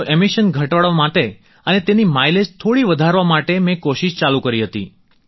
તો એમિશન ઘટાડવા માટે અને તેની માઈલેજ થોડી વધારવા માટે મેં કોશિશ ચાલુ કરી હતી